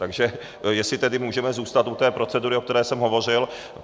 Takže jestli tedy můžeme zůstat u té procedury, o které jsem hovořil.